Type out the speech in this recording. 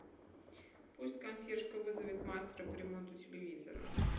пусть консьержка вызовет мастера по ремонту телевизора